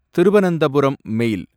திருவனந்தபுரம் மேல்